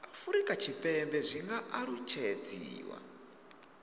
afurika tshipembe zwi nga alutshedziwa